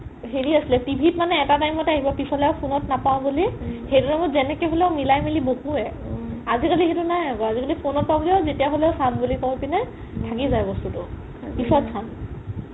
হেৰি আছিলে TV ত মানে এটা time ত আহিব পিছলে phone ত নাপাও বুলি সেইটো time ত যেনেকে হ'লেও মিলাই মিলি বহোৱে আজি কালি সেইটো নাই আকৌ আজি কালি phone ত পাও বুলি যেতিয়া হ'লেও চাম বুলি কই পিনে থাকি যাই বস্তুটো পিছত চাম